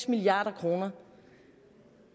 milliard kroner